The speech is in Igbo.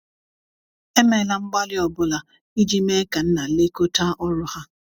emela mgbali ọbụna ijii mee ka nna lekota ọrụ ha